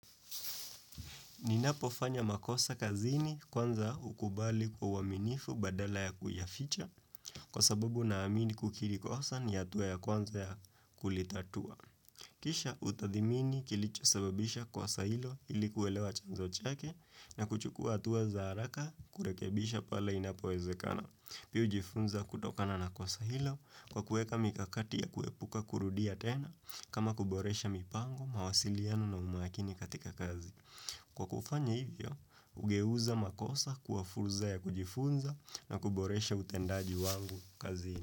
Ninapofanya makosa kazini kwanza hukubali kwa uaminifu badala ya kuyaficha kwa sababu naamini kukiri kosa ni hatuwa ya kwanza ya kulitatua. Kisha hutathmini kilichosababisha kosa hilo ili kuelewa chanzo chake na kuchukua hatua za haraka kurekebisha pale inapowezekana. Pia hujifunza kutokana na kosa hilo kwa kuweka mikakati ya kuepuka kurudia tena kama kuboresha mipango, mawasiliano na umakini katika kazi. Kwa kufanya hivyo, hugeuza makosa kuwa fursa ya kujifunza na kuboresha utendaji wangu kazini.